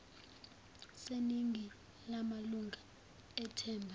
seningi lamalunga ethimba